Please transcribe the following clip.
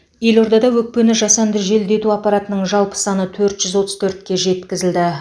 елордада өкпені жасанды желдету аппаратының жалпы саны төрт жүз отыз төртке жеткізілді